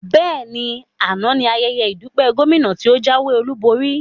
Bẹ́ẹ̀ni, àná ní ayẹyẹ ìdúpẹ́ Gómìnà tí o jáwé olúborí